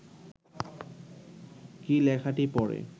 কী লেখাটি পড়ে